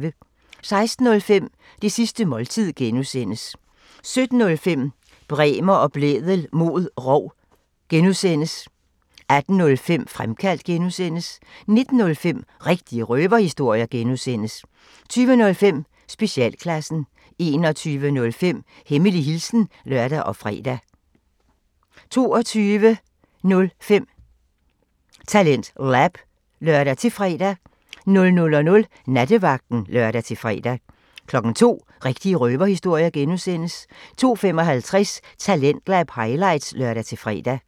16:05: Det sidste måltid (G) 17:05: Bremer og Blædel mod rov (G) 18:05: Fremkaldt (G) 19:05: Rigtige røverhistorier (G) 20:05: Specialklassen 21:05: Hemmelig hilsen (lør og fre) 22:05: TalentLab (lør-fre) 00:00: Nattevagten (lør-fre) 02:00: Rigtige røverhistorier (G) 02:55: Talentlab highlights (lør-fre)